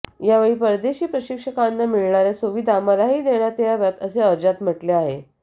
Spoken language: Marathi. यावेळी परदेशी प्रशिक्षकांना मिळणाऱ्या सुविधा मलाही देण्यात याव्यात असे अर्जात म्हटले आहे